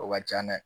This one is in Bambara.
O ka can dɛ